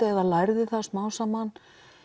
eða lærði það smám saman